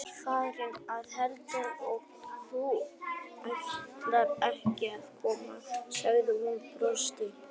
Ég var farin að halda að þú ætlaðir ekki að koma sagði hún brosandi.